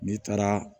N'i taara